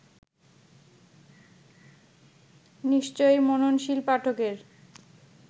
নিশ্চয়ই মননশীল পাঠকের